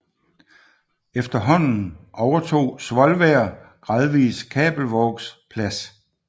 Efterhånden overtog Svolvær gradvis Kabelvågs plads